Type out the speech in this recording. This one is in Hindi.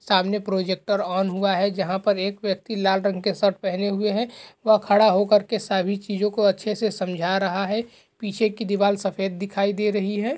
सामने प्रोजेक्टर ऑन हुआ है जहाँ पर एक व्यक्ति लाल रंग के शर्ट पहने हुए है व खड़ा होकर के सभी चीज़ों को अच्छे से समझा रहा है | पीछे की दीवाल सफ़ेद दिखाई दे रही है ।